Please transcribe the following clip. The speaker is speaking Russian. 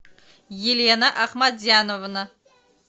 елена ахмадзяновна